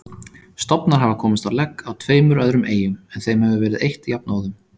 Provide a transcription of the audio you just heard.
Stofnar hafa komist á legg á tveimur öðrum eyjum en þeim hefur verið eytt jafnóðum.